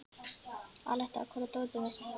Aletta, hvar er dótið mitt?